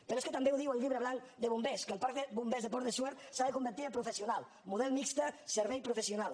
però és que també ho diu el llibre blanc de bombers que el parc de bombers de pont de suert s’ha de convertir en professional model mixt servei professional